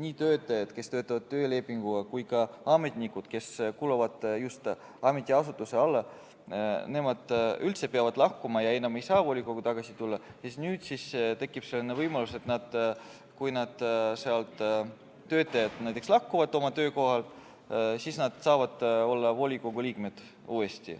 need töötajad, kes töötavad töölepinguga, kui ka ametnikud, kes kuuluvad just ametiasutuse alla, peavad üldse lahkuma ja enam ei saa volikokku tagasi tulla, siis nüüd tekib võimalus, et kui töötajad näiteks lahkuvad oma töökohalt, siis nad saavad olla uuesti volikogu liikmed.